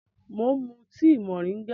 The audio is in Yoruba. Mò ń mú tíì moringa